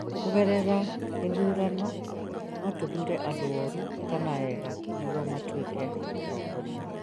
kũgerera gĩthurano, no tũthuure andũ oru kana ega nĩguo matuĩke atongoria